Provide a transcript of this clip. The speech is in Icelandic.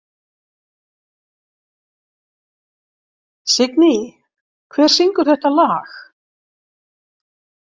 Signý, hver syngur þetta lag?